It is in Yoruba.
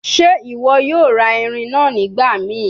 Ṣe iwọ yoo ra irin naa nigbamii?